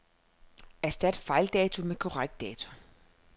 Erstat fejldato med korrekt dato.